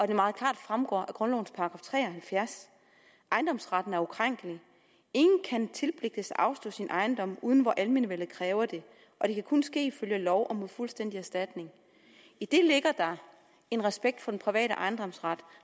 det meget klart fremgår af grundlovens § 73 ejendomsretten er ukrænkelig ingen kan tilpligtes at afstå sin ejendom uden hvor almenvellet kræver det det kan kun ske ifølge lov og mod fuldstændig erstatning i det ligger der en respekt for den private ejendomsret